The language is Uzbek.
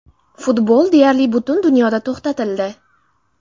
Futbol deyarli butun dunyoda to‘xtatildi.